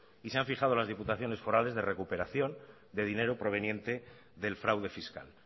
y se han fijado las diputaciones forales de recuperación de dinero proveniente del fraude fiscal